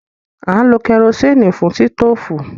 À ń lo kẹrosíìnì fún sítòfù.